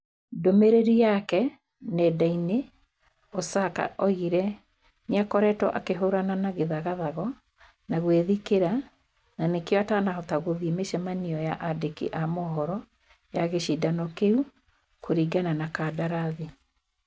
Ndũmĩrĩri yake nenda-inĩ, Osaka oigire nĩ akoretwo akĩhũũrana na gĩthagathago na gwĩthikĩra, na nĩkĩo atanahota gũthĩĩ mĩcemanio ya aandĩki a mohoro ya gĩcindano kĩu kũrĩngana na kandarathi.